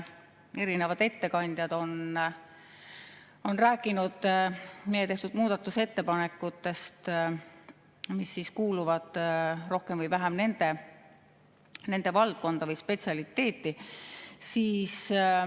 Erinevad ettekandjad on rääkinud meie tehtud muudatusettepanekutest, mis kuuluvad rohkem või vähem nende valdkonda või spetsialiteeti.